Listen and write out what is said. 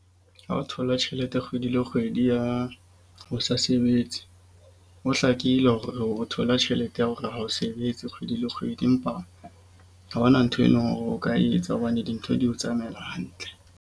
Ha o thola tjhelete kgwedi le kgwedi ya ho sa sebetse, ho hlakile hore o thola tjhelete ya hore ha o sebetse kgwedi le kgwedi. Empa ha hona ntho eno hore o ka etsa hobane dintho di o tsamaela hantle.